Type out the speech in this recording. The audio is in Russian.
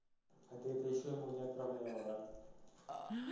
а ты это ещё ему не отправляла да